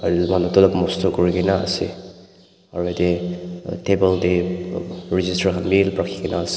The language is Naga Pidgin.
aro ete teh manu tuh alop mosto kurikena ase aro eteh table teh register khan bhi rakhikena ase.